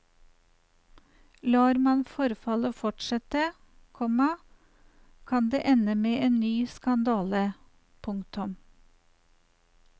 Lar man forfallet fortsette, komma kan det ende med en ny skandale. punktum